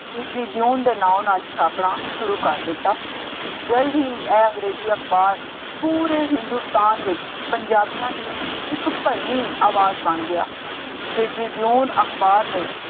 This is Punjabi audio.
The Tribune ਦੇ ਨਾਂਉ ਨਾਲ ਛਾਪਣਾ ਸ਼ੁਰੂ ਕਰ ਦਿੱਤਾ। ਜਲਦ ਹੀ ਇਹ ਅੰਗਰੇਜ਼ੀ ਅਖਬਾਰ ਪੂਰੇ ਹਿੰਦੁਸਤਾਨ ਵਿੱਚ ਪੰਜਾਬੀਆਂ ਦੀ ਇੱਕ ਭਰਵੀਂ ਆਵਾਜ਼ ਬਣ ਗਿਆ। The Tribune ਅਖਬਾਰ ਨੇ